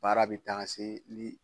Baara bɛ taga se li